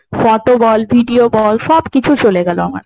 photo বল, video বল সবকিছু চলে গেল আমার।